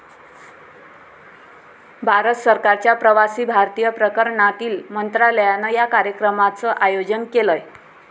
भारत सरकारच्या प्रवासी भारतीय प्रकरणांतील मंत्रालयानं या कार्यक्रमाचं आयोजन केलंय.